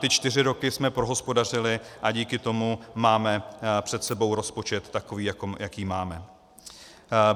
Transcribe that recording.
Ty čtyři roky jsme prohospodařili a díky tomu máme před sebou rozpočet takový, jaký máme.